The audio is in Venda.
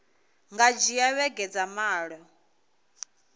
nga dzhia vhege dza malo